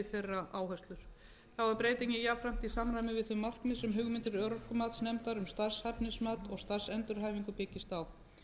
þeirra áherslur þá er breytingin jafnframt í samræmi við þau markmið sem hugmyndir örorkumatsnefndar um starfshæfnismat og starfsendurhæfingu byggist á